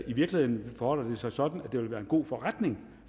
i virkeligheden forholder sig sådan at det ville være en god forretning